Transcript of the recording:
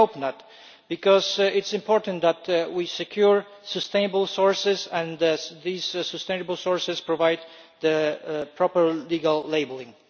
I hope not, because it is important that we secure sustainable sources and that these sustainable sources provide the proper legal labelling.